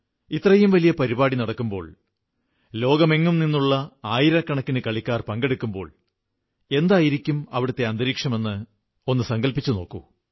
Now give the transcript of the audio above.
ഇത്രയും വലിയ പരിപാടി നടക്കുമ്പോൾ ലോകത്തെങ്ങുനിന്നുമുള്ള ആയിരക്കണക്കിന് കളിക്കാർ പങ്കെടുക്കുമ്പോൾ എന്തായിരിക്കും അവിടത്തെ അന്തരീക്ഷമെന്ന് സങ്കൽപ്പിച്ചു നോക്കൂ